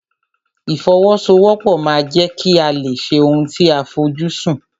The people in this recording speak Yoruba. Ìfọwọ́sowọ́pọ̀ ma ń jẹ́ kí a lè ṣe ohun tí a fojú sùn.